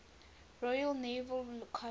royal naval college